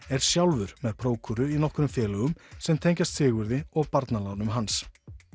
er sjálfur með prókúru í nokkrum félögum sem tengjast Sigurði og börnum hans